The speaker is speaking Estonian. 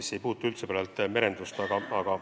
See ei puuduta üldse merendust.